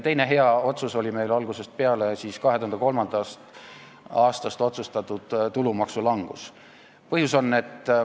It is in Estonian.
Teine hea otsus algusest peale oli 2003. aastast otsustatud tulumaksu langus.